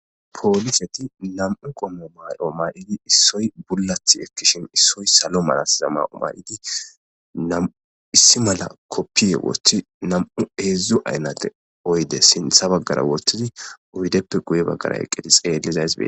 Poliseti nam'u qomo mayo mayidi issoy bulati ekishin issoy salo mala samaye mayidesi , issi mala kopiye wothi nam'u , hezdzdu aynate oyde sintha bagara wothidi oydeppe guye bagara eqidi xeelixaysi beetesi.